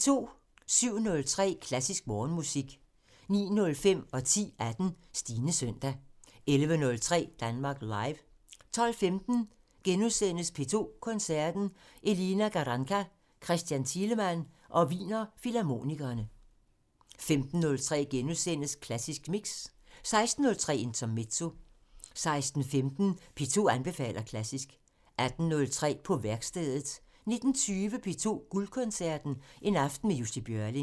07:03: Klassisk Morgenmusik 09:05: Stines søndag 10:18: Stines søndag 11:03: Danmark Live 12:15: P2 Koncerten – Elina Garanca, Christian Thielemann og Wiener Filharmonikerne * 15:03: Klassisk Mix * 16:03: Intermezzo 16:18: P2 anbefaler klassisk 18:03: På værkstedet 19:20: P2 Guldkoncerten – En aften med Jussi Björling